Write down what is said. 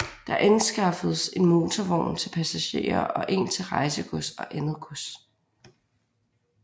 Der anskaffedes en motorvogn til passagerer og en til rejsegods og andet gods